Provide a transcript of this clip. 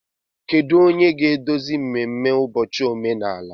Kedu onye ga-eduzi mmemme ụbọchị omenala?